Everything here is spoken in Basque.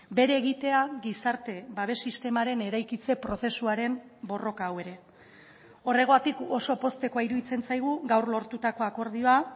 bere egitea gizarte babes sistemaren eraikitze prozesuaren borroka hau ere horregatik oso poztekoa iruditzen zaigu gaur lortutako akordioa